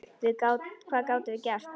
Hvað gátum við gert?